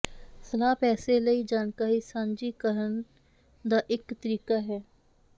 ਸਲਾਹ ਪੈਸੇ ਲਈ ਜਾਣਕਾਰੀ ਸਾਂਝੀ ਕਰਨ ਦਾ ਇਕ ਤਰੀਕਾ ਹੈ